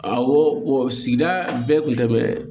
Awɔ sigida bɛɛ kun tɛmɛn